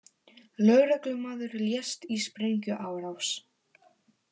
Lögreglumaður lést í sprengjuárás